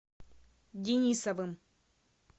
денисовым